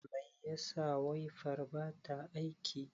Mai yasa waifar bata aiki?